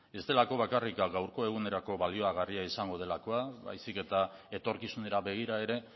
ez delako bakarrik gaurko egunerako baliogarria izango baizik eta etorkizunera begira ere